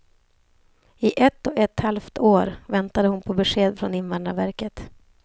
I ett och ett halvt år väntade hon på besked från invandrarverket.